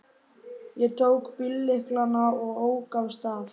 Ég tók bíllyklana og ók af stað.